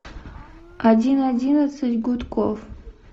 один одиннадцать гудков